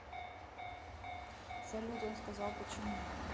салют он сказал почему